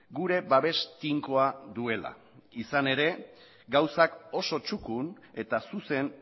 gure babes tinkoa duela izan ere gauzak oso txukun eta zuzen